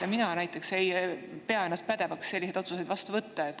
Ja mina näiteks ei pea ennast pädevaks selliseid otsuseid vastu võtma.